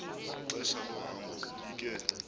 ixesha lohambo ubike